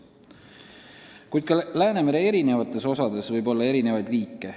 Kuid Läänemere eri osades võib samuti olla erinevaid liike.